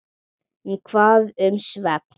En hvað um svefn?